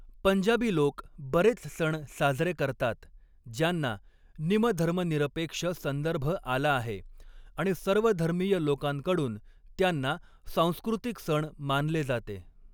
पंजाबी लोक बरेच सण साजरे करतात, ज्यांना निम धर्मनिरपेक्ष संदर्भ आला आहे आणि सर्वधर्मीय लोकांकडून त्यांना सांस्कृतिक सण मानले जाते.